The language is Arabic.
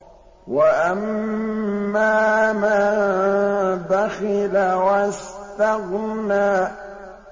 وَأَمَّا مَن بَخِلَ وَاسْتَغْنَىٰ